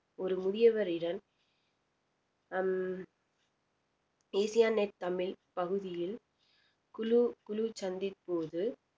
ஒரு முதியவரிடம் ஹம் நெட் தமிழ் பகுதியில் குழு குழு சந்திப்போது